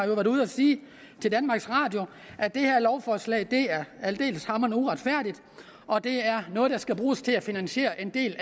været ude at sige til danmarks radio at det her lovforslag er aldeles uretfærdigt og at det er noget der skal bruges til at finansiere en del